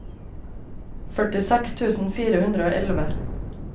førtiseks tusen fire hundre og elleve